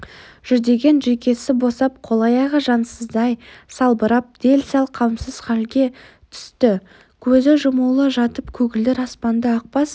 жүдеген жүйкесі босап қол-аяғы жансыздай салбырап дел-сал қамсыз халге түсті көзі жұмулы жатып көгілдір аспанды ақбас